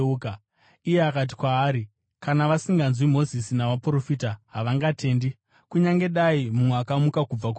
“Iye akati kwaari, ‘Kana vasinganzwi Mozisi navaprofita, havangatendi kunyange dai mumwe akamuka kubva kuvakafa.’ ”